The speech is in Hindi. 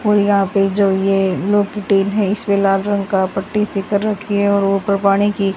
और यहां पे जो ये लोग की टीन है इसमें लाल रंग का पट्टी से कर रखी है और ऊपर पानी की --